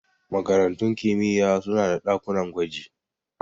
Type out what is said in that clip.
Makarantun kimiyya suna da ɗakunan gwaji.